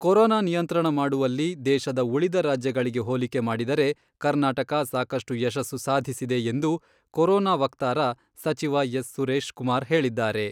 Corona ನಿಯಂತ್ರಣ ಮಾಡುವಲ್ಲಿ ದೇಶದ ಉಳಿದ ರಾಜ್ಯಗಳಿಗೆ ಹೋಲಿಕೆ ಮಾಡಿದರೆ, ಕರ್ನಾಟಕ ಸಾಕಷ್ಟು ಯಶಸ್ಸು ಸಾಧಿಸಿದೆ ಎಂದು ಕೊರೊನಾ ವಕ್ತಾರ ಸಚಿವ ಎಸ್.ಸುರೇಶ್ ಕುಮಾರ್ ಹೇಳಿದ್ದಾರೆ.